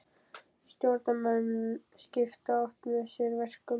Stjórnarmenn skipta oft með sér verkum.